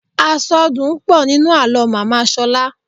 Àsọdùn pọ̀ nínú àlọ́ màmá Ṣọlá.